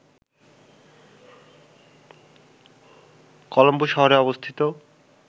কলম্বো শহরে অবস্থিত